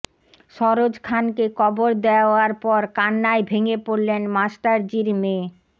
সরোজ খানকে কবর দেওয়ার পর কান্নায় ভেঙে পড়লেন মাস্টারজির মেয়ে